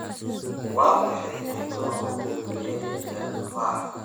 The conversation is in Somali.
Waa maxay qiimaha ugu dambeeya ee tufaaxa?